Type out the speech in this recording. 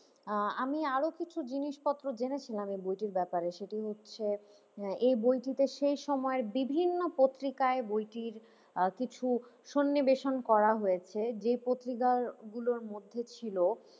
আহ আমি আরো কিছু জিনিসপত্র জেনেছিলাম এই বইটির ব্যাপারে সেটি হচ্ছে এই বইটিতে সেই সময়ের বিভিন্ন পত্রিকায় বইটির আহ কিছু সন্নিবেশন করা হয়েছে যে পত্রিকা গুলোর মধ্যে ছিল,